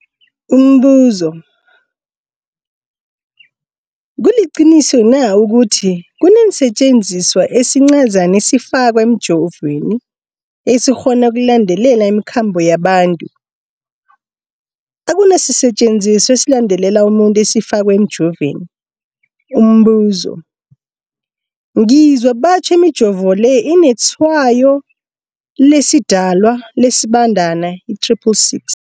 Umbuzo, kuliqiniso na ukuthi kunesisetjenziswa esincazana esifakwa emijovweni, esikghona ukulandelela imikhambo yabantu? Akuna sisetjenziswa esilandelela umuntu esifakwe emijoveni. Umbuzo, ngizwa batjho imijovo le inetshayo lesiDalwa, lesiBandana i-666.